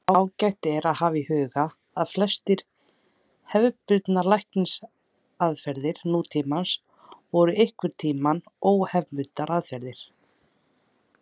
Ágætt er að hafa í huga að flestar hefðbundnar lækningaraðferðir nútímans voru einhverntíma óhefðbundnar aðferðir.